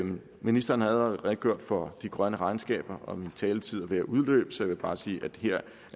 ministeren allerede redegjort for de grønne regnskaber og min taletid er ved at udløbe så jeg vil bare sige at her